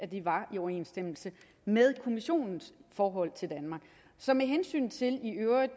det var i overensstemmelse med kommissionens forhold til danmark så med hensyn til i øvrigt